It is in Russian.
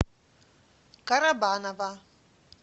карабаново